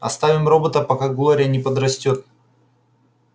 оставим робота пока глория не подрастёт